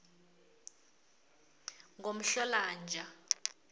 ngomhlolanja